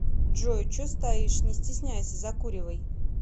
джой че стоишь не стесняйся закуривай